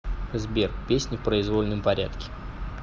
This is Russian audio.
сбер песни в произвольном порядке